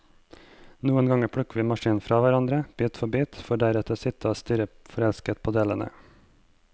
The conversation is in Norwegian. Noen ganger plukker vi maskinen fra hverandre, bit for bit, for deretter å sitte og stirre forelsket på delene.